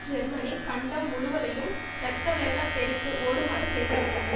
Germany கண்டம் முழுவதையும் இரத்தவெள்ளப் பெருக்கு ஓடுமாறு செய்துவிட்டது